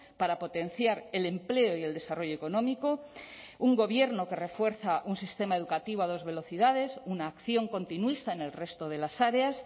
para potenciar el empleo y el desarrollo económico un gobierno que refuerza un sistema educativo a dos velocidades una acción continuista en el resto de las áreas